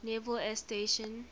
naval air station